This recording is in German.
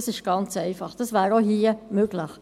Das wäre auch hier möglich.